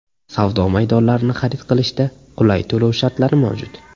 Savdo maydonlarini xarid qilishda qulay to‘lov shartlari mavjud.